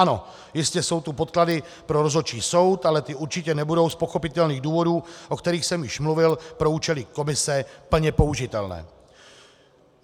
Ano, jistě jsou tu podklady pro rozhodčí soud, ale ty určitě nebudou z pochopitelných důvodů, o kterých jsem už mluvil, pro účely komise plně použitelné.